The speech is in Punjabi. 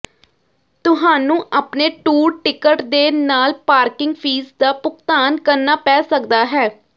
ਤੁਹਾਨੂੰ ਆਪਣੇ ਟੂਰ ਟਿਕਟ ਦੇ ਨਾਲ ਪਾਰਕਿੰਗ ਫ਼ੀਸ ਦਾ ਭੁਗਤਾਨ ਕਰਨਾ ਪੈ ਸਕਦਾ ਹੈ